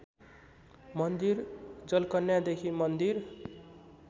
मन्दिर जलकन्यादेखि मन्दिर